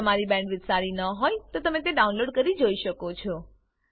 જો તમારી પાસે સારી બેન્ડવિડ્થ ન હોય તો તમે તેને ડાઉનલોડ કરીને જોઈ શકો છો